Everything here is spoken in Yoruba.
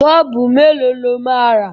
Bọ́ọ̀bù mélòó lọ máa rà?